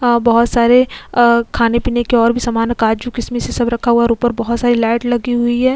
बहुत सारे खाने पीने के और भी सामान है काजू किसमिश ये सब रखा हुआ है और ऊपर बहुत सारी लाइट लगी हुई है।